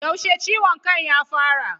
Yaushe ciwon kan ya fara?